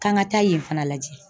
K'an ka taa yen fana lajɛ